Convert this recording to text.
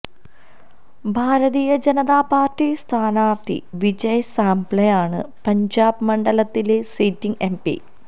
ഭാരതീയ Janata party സ്ഥാനാർഥി വിജയ് സാംപ്ല ആണ് പഞ്ചാബ് മണ്ഡലത്തിലെ സിറ്റിങ് എംപി